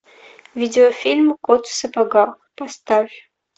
видеофильм кот в сапогах поставь